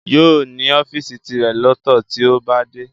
Yóò ní ọ́fìsì tirẹ̀ lọ́tọ̀ tí ó bá dé